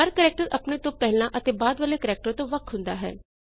ਹਰ character ਆਪਣੇ ਤੋਂ ਪਹਿਲਾਂ ਅਤੇ ਬਾਅਦ ਵਾਲੇ ਕੈਰੇਕਟਰ ਤੋਂ ਵੱਖ ਹੁੰਦਾ ਹੈ